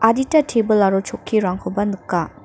adita tebil aro chokkirangkoba nika.